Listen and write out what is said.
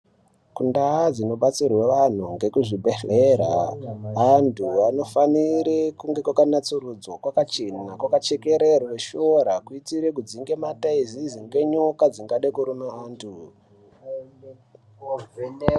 Ndaa dzinobetserwe vanthu ngekuzvibhedhlera anthu anofanire kunge kwakanasurudzwa kwakachena kwakachekererwa masora kuita kudzinge mathaizezi nenyoka dzingade kurume anthu.